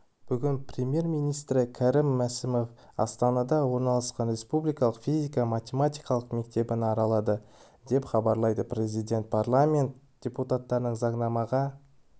бүгін премьер-министрі кәрім мәсімов астанада орналасқан республикалық физика-математика мектебін аралады деп хабарлайды президент парламент депутаттарына заңнамаға